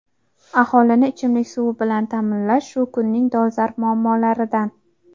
Aholini ichimlik suv bilan ta’minlash shu kunning dolzarb muammolaridan.